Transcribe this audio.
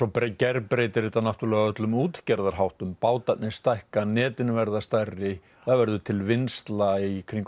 gerbreytir þetta náttúrulega öllum útgerðarháttum bátarnir stækka netin verða stærri það verður til vinnsla í kringum